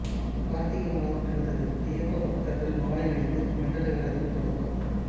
கார்த்திகை மாதம் பிறந்தது ஐயப்ப பக்தர்கள் மாலையணிந்து மண்டல விரதம் தொடக்கம்